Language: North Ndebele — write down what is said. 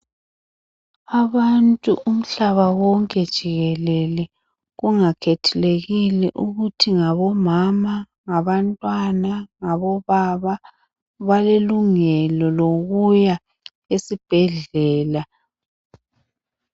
Abantu umhlaba wonke jikelele kungakhathalekile ukuthi ngabomama ngabantwana ngabobaba balelungelo lokuya esibhedlela.